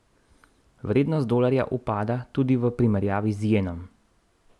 Vrednost dolarja upada tudi v primerjavi z jenom.